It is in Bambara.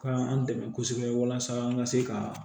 Ka an dɛmɛ kosɛbɛ walasa an ka se ka